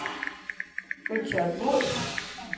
Richard Würtz